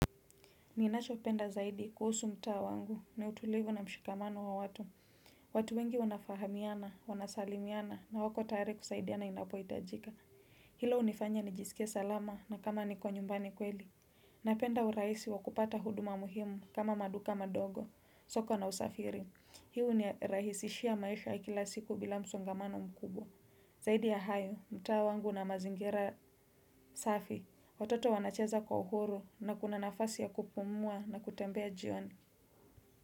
Ninachopenda zaidi kuhusu mtaa wangu ni utulivu na mshikamano wa watu. Watu wengi wanafahamiana, wanasalimiana na wako tayari kusaidiana inapohitajika. Hilo hunifanya nijisikie salama na kama niko nyumbani kweli. Napenda urahisi wa kupata huduma muhimu kama maduka madogo, soko na usafiri. Hii hunirahisishia maisha ya kila siku bila msongamano mkubwa. Zaidi ya hayo, mtaa wangu una mazingira safi, watoto wanacheza kwa uhuru na kuna nafasi ya kupumua na kutembea jioni.